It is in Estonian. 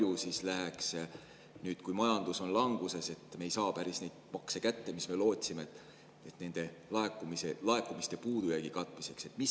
Ja kui palju läheks see nüüd, kui majandus on languses – me ei saa kätte seda, mis me lootsime –, laekumiste puudujäägi katmiseks?